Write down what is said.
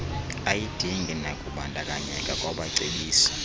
ayidingi nakubandakanyeka kwabacebisi